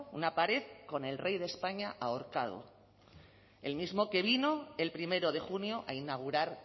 una pared con el rey de españa ahorcado el mismo que vino el primero de junio a inaugurar